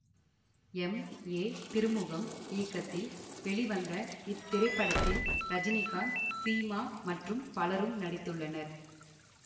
M A Thirumugam இயக்கத்தில் வெளிவந்த இத்திரைப்படத்தில் ரஜினிகாந்த் சீமா மற்றும் பலரும் நடித்துள்ளனர்